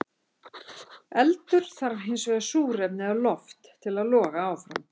Eldur þarf hins vegar súrefni eða loft til að loga áfram.